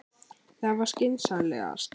Það var skynsamlegast.